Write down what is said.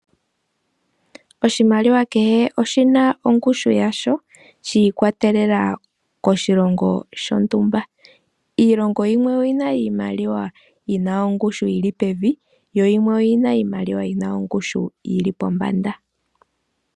Oshimaliwa kehe oshina ongushu yasho shiikwatelela koshilongo shontumba. Iilongo yimwe oyina iimaliwa yina ongushu yi li pevi. Yo yimwe oyina iimaliwa yina ongushu yili pombanda.